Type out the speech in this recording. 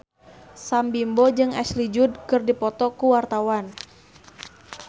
Sam Bimbo jeung Ashley Judd keur dipoto ku wartawan